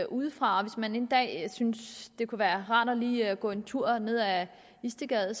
udefra og hvis man en dag synes det kunne være rart lige at gå en tur ned ad istedgade